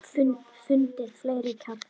Fundið fleiri kjarna.